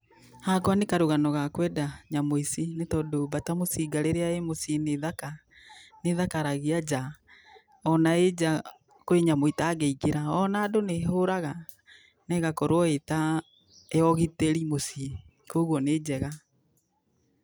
Hakwa nĩ karũgano ga kũenda nyamũ ici, nĩ tondũ mbata mũcinga rĩrĩa ĩ mũciĩ nĩ thaka, nĩ ĩthakaragia njaa, ona ĩ njaa kwĩ nyamũ itangĩingĩra ona andũ nĩ ĩhũraga na ĩgakorwo ĩ ta, ya ũgitĩri mũciĩ, kogwo nĩ njega.